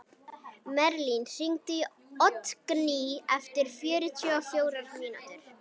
Merlin, hringdu í Oddgný eftir fjörutíu og fjórar mínútur.